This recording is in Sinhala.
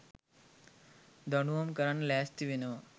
දඬුවම් කරන්න ලෑස්ති වෙනව.